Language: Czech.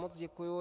Moc děkuji.